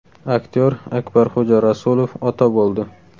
Aktyor Akbarxo‘ja Rasulov ota bo‘ldi.